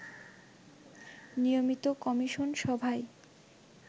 নিয়মিত কমিশন সভায়